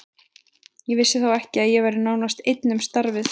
Ég vissi þá ekki að ég væri nánast einn um starfið.